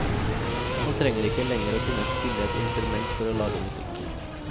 Man trenger ikke lenger å kunne spille et instrument for å lage musikk.